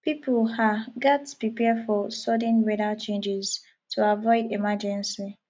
pipo um gatz prepare for sudden weather changes to avoid emergency